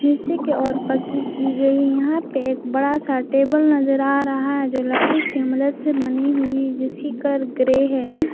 नीचे के और पक्की की गई यहां पे एक बड़ा सा टेबल नजर आ रहा है जो लकड़ी की मदद से बनी हुई जिस की कलर ग्रे है।